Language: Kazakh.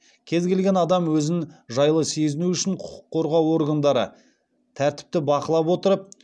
кез келген адам өзін жайлы сезіну үшін құқық қорғау органдары тәртіпті бақылап отырып